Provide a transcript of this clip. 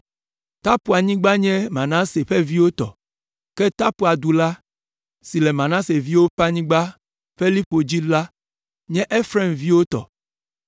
Tapuanyigba nye Manase ƒe viwo tɔ, ke Tapua du la, si le Manase ƒe viwo ƒe anyigba ƒe liƒo dzi la nye Efraim ƒe viwo tɔ.